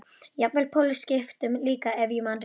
Jafnvel pólskiptum líka ef ég man rétt.